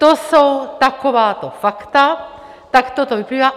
To jsou takováto fakta, takto to vyplývá.